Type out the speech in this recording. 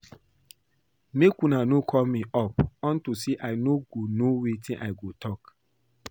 Make una no call me up unto say I no go know wetin I go talk